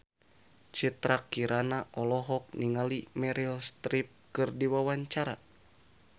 Citra Kirana olohok ningali Meryl Streep keur diwawancara